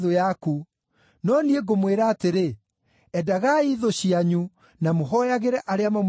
No niĩ ngũmwĩra atĩrĩ: Endagai thũ cianyu, na mũhooyagĩre arĩa mamũnyariiraga,